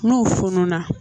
N'o fununa